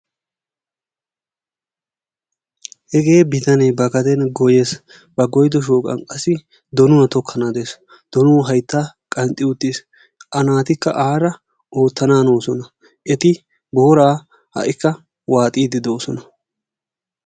Hegee bitanee ba gaden goyyes. Ba goyyido shooqan qassi donuwa tokkana hanes. Donuwa haytta qanxxi uttis, A naatikka aara oottananoosona. Eti boora ha''ikka waaxiiddi doosona.